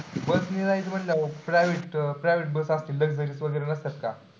bus ने जायचं म्हंटल्यावर private, private bus आपलं luxury नसतात का?